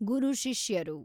ಗುರು ಶಿಷ್ಯರು